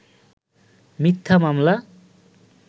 মিথ্যা মামলা